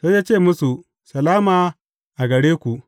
Sai ya ce musu, Salama a gare ku!